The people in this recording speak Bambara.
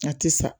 A tɛ sa